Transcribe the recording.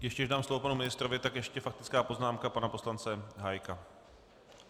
Ještě než dám slovo panu ministrovi, tak ještě faktická poznámka pana poslance Hájka.